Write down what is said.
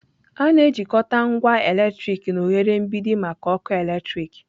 A na-ejikọta ngwa eletriki na oghere mgbidi maka ọkụ eletrik